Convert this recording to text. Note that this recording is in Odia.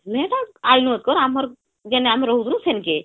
ନେ ତ ଆଇନୁ ଏକର ଆମର ଯେଣେ ରହୁଥିଲୁ ସେନକେ